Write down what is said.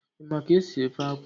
Ị ma ka esi ofe akwụ?